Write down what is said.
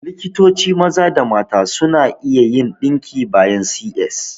Likitoci maza da mata suna iya yin ɗinki bayan C.S